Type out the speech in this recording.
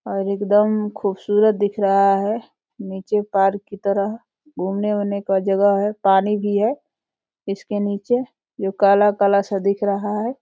और एकदम खूबसूरत दिख रहा है। नीचे पार्क की तरह घूमने वुमने की जगह है। पानी भी है इसके नीचे जो काला काला सा दिख रहा है।